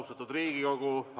Austatud Riigikogu!